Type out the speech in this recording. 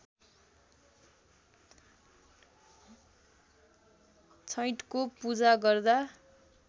छैठको पूजा गर्दा